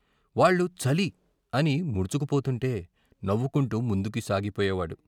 వాళ్లు చలి " అని ముడుచుకుపోతుంటే నవ్వుకుంటూ ముందుకు సాగిపోయేవాడు.